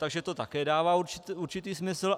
Takže to také dává určitý smysl.